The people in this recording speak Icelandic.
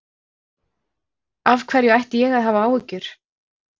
Af hverju ætti ég að hafa áhyggjur?